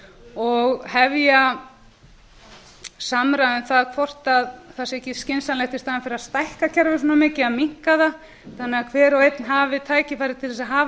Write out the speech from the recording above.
og hefja samræðu um það hvort það sé ekki skynsamlegt í staðinn fyrir að stækka kerfið svona mikið að minnka það þannig að hver og einn hafi tækifæri til þess að hafa